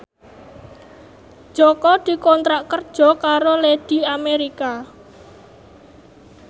Jaka dikontrak kerja karo Lady America